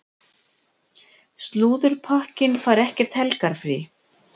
Slúðurpakkinn fær ekkert helgarfrí.